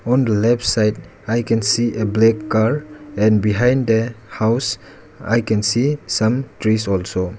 On the left side I can see a black car and behind the house I can see some trees also.